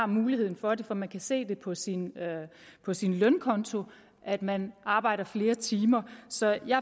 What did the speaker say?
muligheden for det for man kan se på sin på sin lønkonto at man arbejder flere timer så jeg